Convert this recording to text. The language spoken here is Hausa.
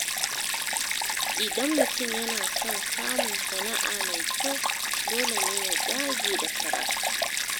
Idan mutum yana son samun sana’a mai kyau, dole ne ya dage da karatu.